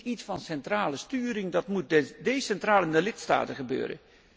Dat is niet iets van centrale sturing, dat moet decentraal in de lidstaten gebeuren.